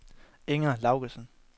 Inger Laugesen